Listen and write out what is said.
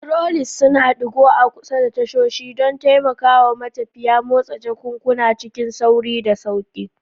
Trolleys suna ɗigo a kusa da tashoshi don taimakawa matafiya motsa jakunkuna cikin sauri da sauƙi.